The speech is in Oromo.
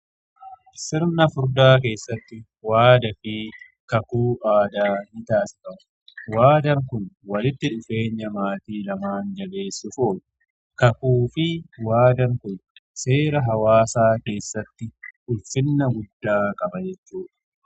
Sirna furdaa keessatti waadaa fi kakuu aadaa ni taasifamu. Waadaan kun walitti dhufeenya maatii lamaan jabeessuuf oolu. Kakuu fi waadaan kun seera hawaasaa keessatti ulfina guddaa qaba jechuudha.